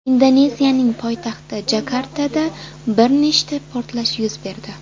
Indoneziyaning poytaxti Jakartada bir nechta portlash yuz berdi.